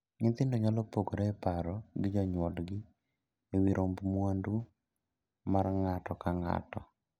Nyithindo nyalo pogore e paro gi jonyuolgi e wii romb mwandu mar ng'ato ka ng'ato.